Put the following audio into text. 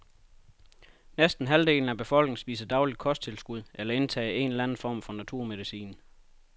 Næsten halvdelen af befolkningen spiser dagligt kosttilskud eller indtager en eller anden form for naturmedicin.